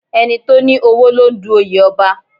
Ẹni tó ní owó ló ń du oyè Ọba